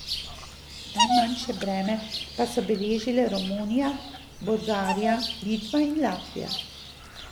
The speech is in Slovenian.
Najmanjše breme pa so beležile Romunija, Bolgarija, Litva in Latvija.